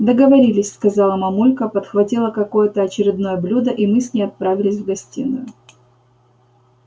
договорились сказала мамулька подхватила какое-то очередное блюдо и мы с ней отправились в гостиную